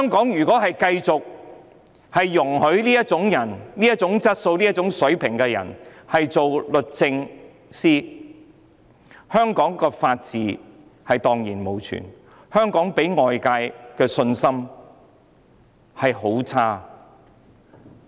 如果繼續容許這種質素和水平的人擔任律政司司長，香港法治便會蕩然無存，外界對香港更會失去信心。